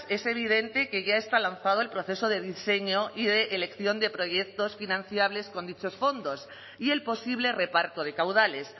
es evidente que ya está lanzado el proceso de diseño y de elección de proyectos financiables con dichos fondos y el posible reparto de caudales